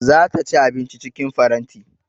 Za ta ci abinci cikin faranti